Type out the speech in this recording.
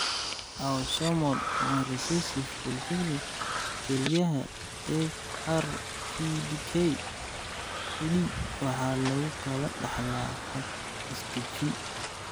Autosomal recessive polycystic kelyaha (ARPKD) waxa lagu kala dhaxlaa hab is-dajin.